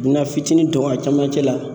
U bɛ na fitini don a cɛmancɛ la.